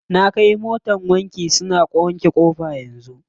Na kai motar wanki, suna wanke ƙofa yanzu.